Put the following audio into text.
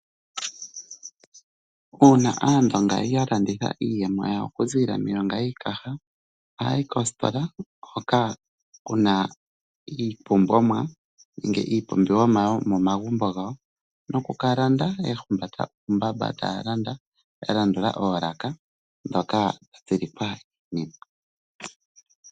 Uuna Aandonga ya landitha iiyemo yawo okuzilila miilonga yiikaha, ohaya yi koositola hoka kuna iipumbwomwa nenge iipumbiwomwa yo momagumbo gawo nokukalanda ya humbata uumbamba taya landa, ya landula oolaka dhoka dhili pa ne.